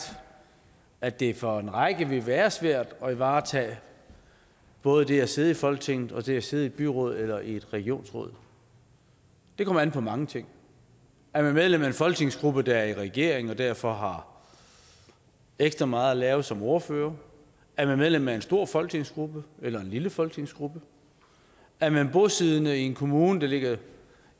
at det for en række mennesker vil være svært at varetage både det at sidde i folketinget og det at sidde i et byråd eller i et regionsråd det kommer an på mange ting er man medlem af en folketingsgruppe der er i regering og derfor har ekstra meget at lave som ordfører er man medlem af en stor folketingsgruppe eller en lille folketingsgruppe er man bosiddende i en kommune der ligger